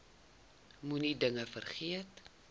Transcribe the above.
moenie dinge vergeet